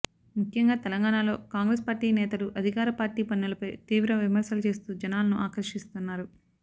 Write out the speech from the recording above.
ముఖ్యంగా తెలంగాణాలో కాంగ్రెస్ పార్టీ నేతలు అధికార పార్టీ పనులపై తీవ్ర విమర్శలు చేస్తూ జనాలను ఆకర్షిస్తున్నారు